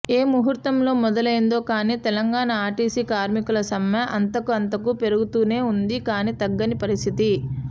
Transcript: ఏ ముహుర్తంలో మొదలైందో కానీ తెలంగాణ ఆర్టీసీ కార్మికుల సమ్మె అంతకంతకూ పెరుగుతూనే ఉంది కానీ తగ్గని పరిస్థితి